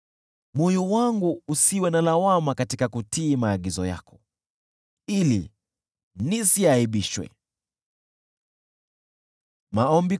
Moyo wangu usiwe na lawama katika kutii maagizo yako, ili nisiaibishwe.